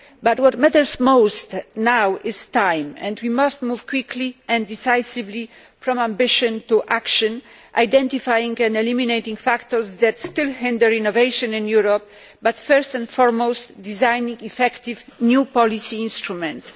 But what matters most now is time, and we must move quickly and decisively from ambition to action by identifying and eliminating factors that still hinder innovation in Europe but, first and foremost, by designing effective new policy instruments.